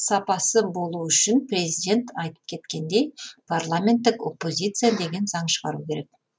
сапасы болу үшін президент айтып кеткендей парламенттік оппозиция деген заң шығару керек